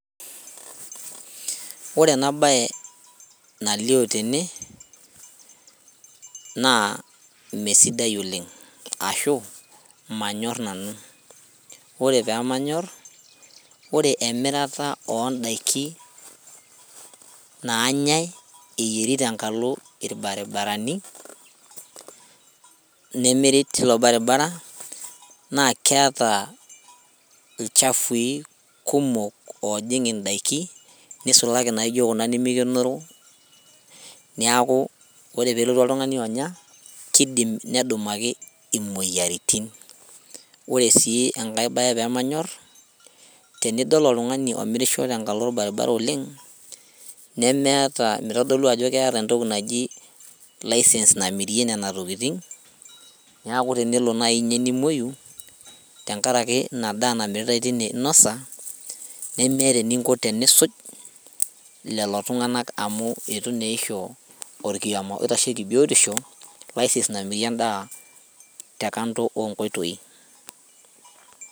Ore ena baye nalio tene naa mesidai oleng ashu manyorr nanu ore pemanyorr ore emirata ondaiki nanyae eyieri tenkalo irbaribarani nemiri tilo baribara naa keeta ilchafui kumok ojing indaiki nisulaki naijo kuna nimikenoro niaku ore pelotu oltung'ani onya kidim nedumaki imoyiaritin ore sii enkae baye pemanyorr tenidol oltung'ani omirisho tenkalo orbaribara oleng nemeeta mitodolu ajo keeta entoki naji license namirie nena tokiting niaku tenelo naji inye nimuoyu tenkaraki ina daa namiritae tine inosa nemeeta eninko tenisuj lelo tung'anak amu itu neisho orkioma oitasheki biotisho license namirie endaa te kando onkoitoi.